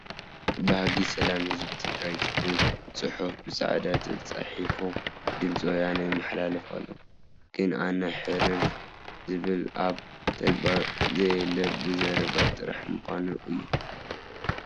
ባህጊ ሰላም ህዝቢ ትግራይ ዝብል ፅሑፍ ብፃዕዳ ተፃሕፉ ብድምፂ ወያነ ይመሓላለፍ ኣሎ። ግን ኣነ ሕርር! ዝብል ኣብ ተግባር ዘየለ ብዘረባ ጥራሕ ምኳኑ እዩ።